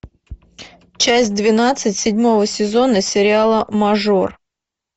часть двенадцать седьмого сезона сериала мажор